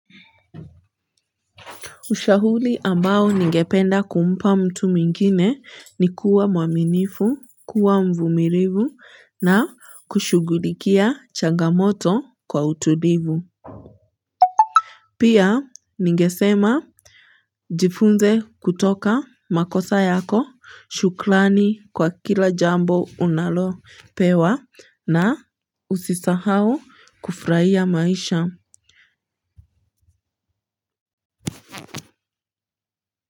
Ushahuli ambao ningependa kumpa mtu mwingine ni kuwa mwaminifu kuwa mvumilivu na kushugulikia changamoto kwa utulivu pia ningesema. Jifunze kutoka makosa yako shuklani kwa kila jambo unalo pewa na usisahau kufraia maisha.